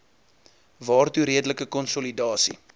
waartoe redelike konsolidasie